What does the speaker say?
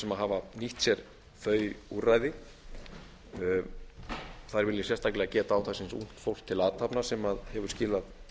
sem hafa nýtt sér þau úrræði þar vil ég sérstaklega geta átaksins ungt fólk til athafna sem hefur skilað